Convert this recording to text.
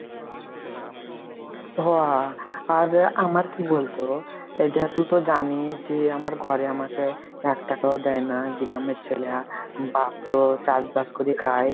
হো আর আমার কি বলতো, এই দেখ তুই টি জানিস যে আমার ঘরে আমাকে একটাকা ও দেয় না গ্রামের ছেল্যা, আর বাপ্ তো চাষবাস করে খায়,